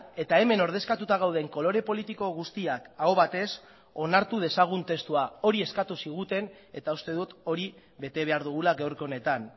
eta hemen ordezkatuta gauden kolore politiko guztiak aho batez onartu dezagun testua hori eskatu ziguten eta uste dut hori bete behar dugula gaurko honetan